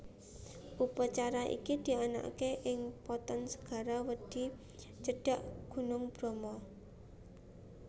Upacara iki dianakaké ing Poten Segara Wedhi cedhak Gunung Bromo